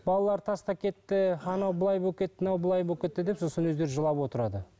балалар тастап кетті анау былай болып кетті мынау былай болып кетті деп сосын өздері жылап отырады